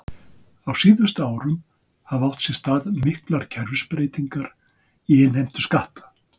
Á síðustu árum hafa átt sér stað miklar kerfisbreytingar í innheimtu skatta.